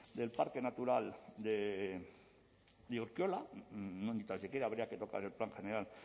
del parque natural de urkiola ni tan siquiera habría que tocar el plan general